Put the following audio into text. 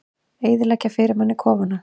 Eyðileggja fyrir manni kofana!